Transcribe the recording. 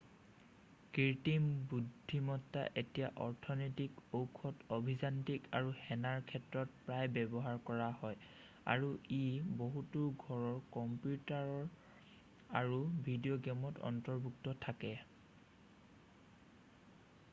কৃত্ৰিম বুদ্ধিমত্তা এতিয়া অৰ্থনৈতিক ঔষধ অভিযান্ত্ৰিক আৰু সেনাৰ ক্ষেত্ৰত প্ৰায় ব্যৱহাৰ কৰা হয় আৰু ই বহুতো ঘৰুৱা কম্পিউটাৰ আৰু ভিডিও গেমত অন্তৰ্ভুক্ত থাকে